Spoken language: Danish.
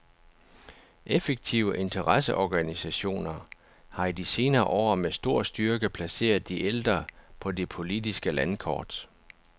Effektive interesseorganisationer har i de senere år med stor styrke placeret de ældre på det politiske landkort.